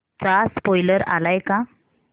चा स्पोईलर आलाय का